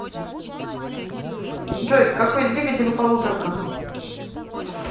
джой какой двигатель у полуторка